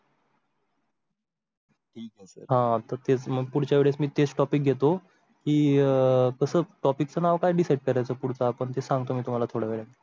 हां तर ते पुढच्या वेळी तेच Topic घेतो की अह कसम topic चं नाव काय decide त्याचा पुढचा पण ते सांगतो मी तुम्हाला थोडा वेळने.